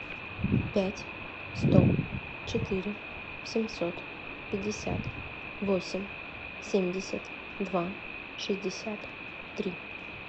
пять сто четыре семьсот пятьдесят восемь семьдесят два шестьдесят три